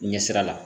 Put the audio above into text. Ɲɛsira la